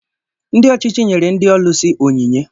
Ndị ọchịchị nyere ndị ọlusi ònyìnyé